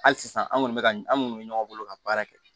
Hali sisan an kɔni bɛ ka an minnu bɛ ɲɔgɔn bolo ka baara kɛ